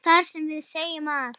þar sem við segjum að